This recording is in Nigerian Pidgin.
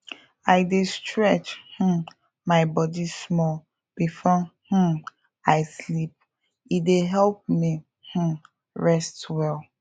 i dey stretch um my body small before um i sleep e dey help me um rest well